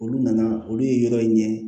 Olu nana olu ye yɔrɔ in ɲɛ